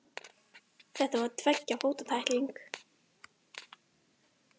Var þetta tveggja fóta tækling?